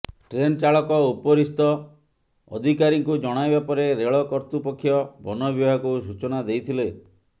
train ଚାଳକ ଉପରିସ୍ଥ ଅଧିକାରୀଙ୍କୁ ଜଣାଇବା ପରେ ରେଳ କର୍ତ୍ତୃପକ୍ଷ ବନବିଭାଗକୁ ସୂଚନା ଦେଇଥିଲେ